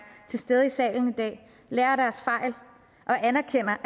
til stede i salen i dag lærer af deres fejl og anerkender